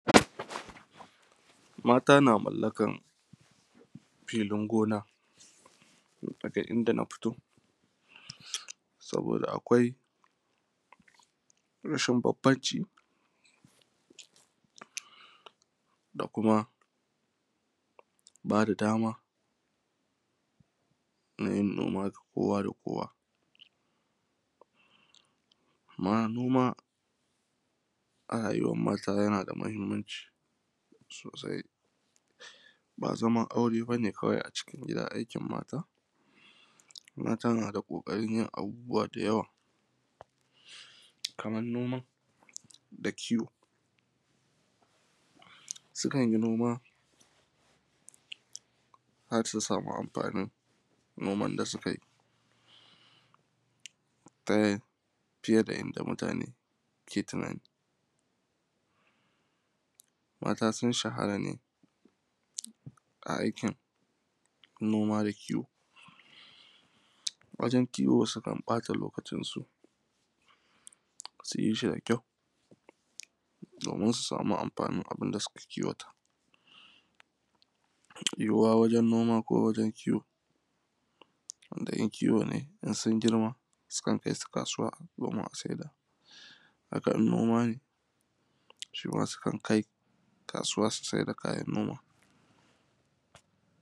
Mata na mallakan filin gona daga inda na fito, saboda akwai rashin bambanci da kuma ba da dama na yin noma kowa da kowa amma noma a rayuwan mata yana da mahimanci sosai. Ba zaman aure ba ne kawai a cikin gida aikin mata, mata na da ƙoƙarin yin abubuwa da yawa kamar noma da kiwo, sukan yi noma har su sami amfanin noman da sukai ta fiye da yanda mutane ke tunani. Mata sun shahara ne a aikin noma da kiwo wajen kiwo sukan ƃata lokacinsu su yi shi da kyau domin su sami amfanin abin da suka kiwata. Yiwuwa wajen noma ko wajen kiwo, idan kiwo ne in sun girma sukan kai su kasuwa domin a saida, haka in noma ne su ma sukan kai kasuwa su sai da kayan noma.